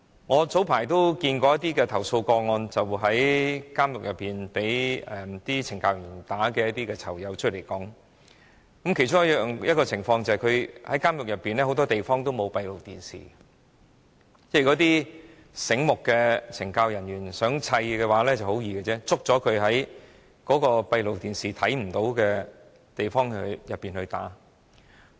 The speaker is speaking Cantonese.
我早前接觸過一些曾在監獄內被懲教人員毆打的囚友，他們出獄後告訴我，監獄內很多地方沒有閉路電視，一些醒目的懲教人員如果想毆打囚友，會在閉路電視拍攝不到的地方毆打他們。